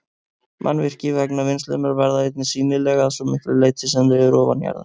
Mannvirki vegna vinnslunnar verða einnig sýnileg að svo miklu leyti sem þau eru ofanjarðar.